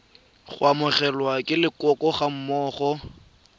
go amogelwa ke leloko gammogo